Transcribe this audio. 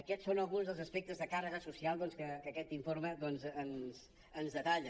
aquests són alguns dels aspectes de càrrega social doncs que aquest informe ens detalla